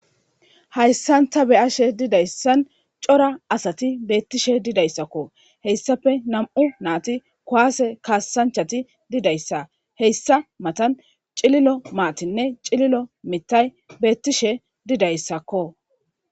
hayssan ta beyashe didayssan cora asati beettishe didayssakko heyssafe nam7u naati kuwaase kaasanchati didayssa heyssa matan cililo maatinne cililo mitay beettishe didayssakko